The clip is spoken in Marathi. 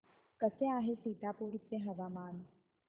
कसे आहे सीतापुर चे हवामान